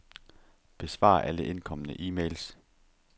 Besvar alle indkomne e-mails.